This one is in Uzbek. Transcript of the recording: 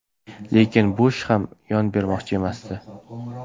Lekin Bush ham yon bermoqchi emasdi.